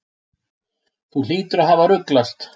Þú hlýtur að hafa ruglast.